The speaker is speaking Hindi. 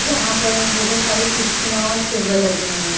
जहां पर बहुत सारी कुर्सियां और टेबल लगे हुए हैं।